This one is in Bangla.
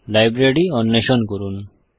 লাইব্রেরি অন্বেষণ করুন